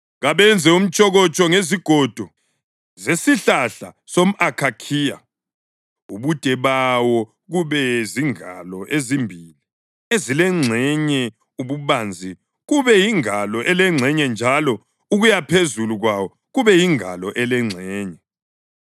“Kabenze umtshokotsho ngezigodo zesihlahla somʼakhakhiya, ubude bawo kube zingalo ezimbili ezilengxenye, ububanzi kube yingalo elengxenye njalo ukuyaphezulu kwawo kube yingalo elengxenye.